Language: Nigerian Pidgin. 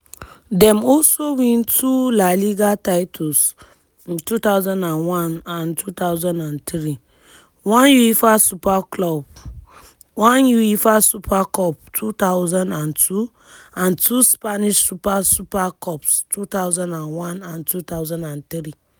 dem also win two la liga titles (two thousand and one and two thousand and three) one uefa super clup one uefa super cup (two thousand and two) and two spanish super super cups (two thousand and one and two thousand and three).